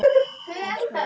Elsku, elsku Kiddi minn.